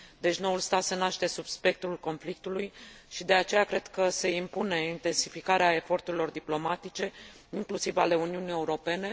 Deci noul stat se naște sub spectrul conflictului și de aceea cred că se impune intensificarea eforturilor diplomatice, inclusiv ale Uniunii Europene.